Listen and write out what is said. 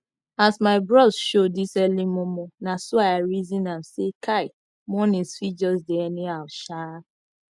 as my bros show dis early momo naso i reson am say kai mornings fit jus dey anyhow shaaa